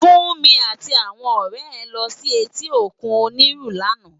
Funmi àti áwòn òrè è lò si èti ókún Oniru làná